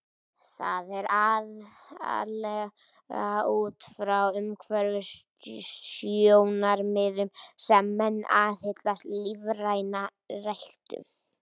Það er aðallega út frá umhverfissjónarmiðum sem menn aðhyllast lífræna ræktun.